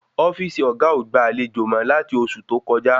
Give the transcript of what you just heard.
Ofíìsì oga o gba àlejò mọ lati oṣù tó kọjá